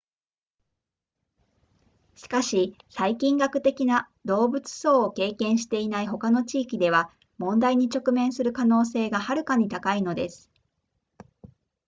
しかし細菌学的な動物相を経験していない他の地域では問題に直面する可能性がはるかに高いのです